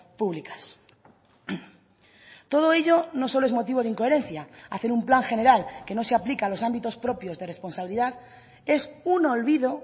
públicas todo ello no solo es motivo de incoherencia hacer un plan general que no se aplica a los ámbitos propios de responsabilidad es un olvido